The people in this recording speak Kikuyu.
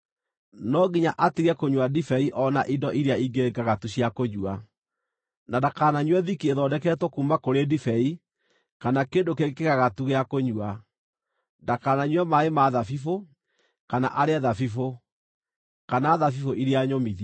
no nginya atige kũnyua ndibei o na indo iria ingĩ ngagatu cia kũnyua, na ndakananyue thiki ĩthondeketwo kuuma kũrĩ ndibei kana kĩndũ kĩngĩ kĩgagatu gĩa kũnyua. Ndakananyue maaĩ ma thabibũ, kana arĩe thabibũ, kana thabibũ iria nyũmithie.